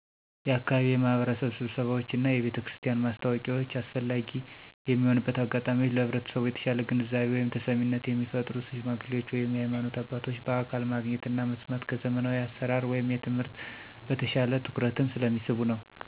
የአካባቢ የማህበረሰብ ስብሰባዎች እና የቤተክርስቲያን ማስታወቂያዎች አስፈላጊ የሚሆንበት አጋጣሚወች ለህብረተሰቡ የተሻለ ግንዛቤ (ተሰሚነት) የሚፈጥሩ ሽማግሌዎች ወይም የሀይማኖት አባቶች በአካል ማግኘት እና መስማት ከዘመናዊ አሰራር (ትምህርት) በተሻለ ትኩረትን ስለሚስቡ ነዉ።